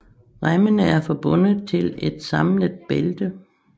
Remmene er forbundet til et samlet bælte